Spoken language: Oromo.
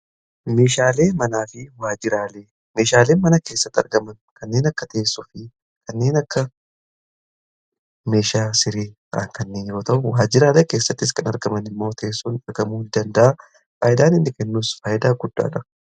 meeshaalee manaa fi waajjraalee meeshaalee mana keessatti argaman kanneen akka teessoo fi kanneen akka meeshaa sirrii kanneen yoo ta'u waajjiraalee keessattis kan argaman immoo teessuumni argamuu danda'a .faayidaan innii kennus faayidaa guddaadha.